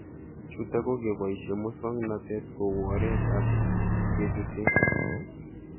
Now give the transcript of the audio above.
Chutok ko kepoishe muswog'natet kou oret ab kechutee